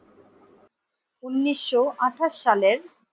উনিশশো আঠাশ সালের ।